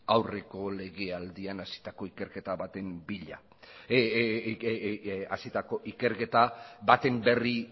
aurreko legealdian hasitako ikerketa baten berri